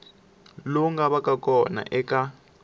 lowu nga vaka kona eka